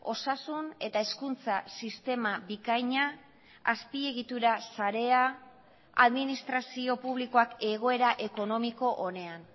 osasun eta hezkuntza sistema bikaina azpiegitura sarea administrazio publikoak egoera ekonomiko onean